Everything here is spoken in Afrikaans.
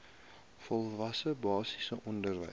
volwasse basiese onderwys